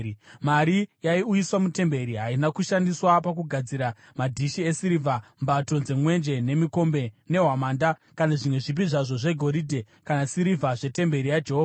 Mari yaiuyiswa mutemberi haina kushandiswa pakugadzira madhishi esirivha, mbato dzemwenje, nemikombe, nehwamanda kana zvimwe zvipi zvazvo zvegoridhe kana sirivha zvetemberi yaJehovha.